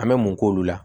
An bɛ mun k'olu la